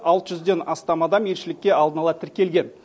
алты жүзден астам адам елшілікке алдын ала тіркелген